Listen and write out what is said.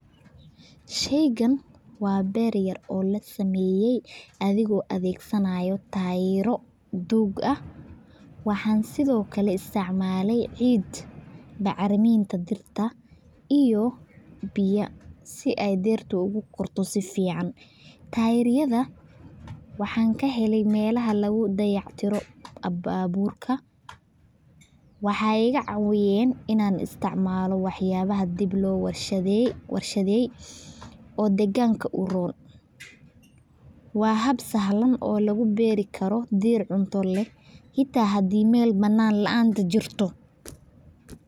Sheygan waxaa beer yar oo lasameye athigo adhegsanayo tayaro dug ah, waxaan sithokale isticmaley ciid dacriminta dirta iyo biya si ee bertu ogu korto si fican, tayaraha waxan kahele melaha lagu dayac tiro baburka, waxee igacawiyen in an isticmalo wax yalaha diib lo warshadheye oo deganka u ron, waa hab sahlan oo lagu beeri karo deer cunta leh xita hade meel banan laan jirto.